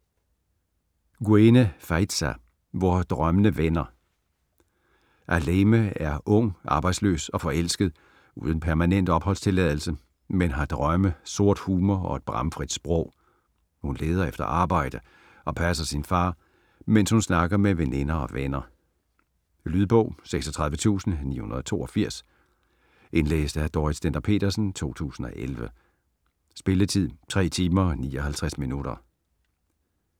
Guène, Faïza: Hvor drømmene vender Ahlème er ung, arbejdsløs, forelsket og uden permanent opholdstilladelse, men har drømme, sort humor og et bramfrit sprog. Hun leder efter arbejde og passer sin far, mens hun snakker med veninder og venner. Lydbog 36942 Indlæst af Dorrit Stender-Petersen, 2011. Spilletid: 3 timer, 59 minutter.